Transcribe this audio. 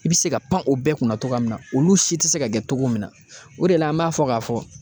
I be se ka pan o bɛɛ kunna togoya min na olu si te se ka kɛ togo min na o de la an b'a fɔ k'a fɔ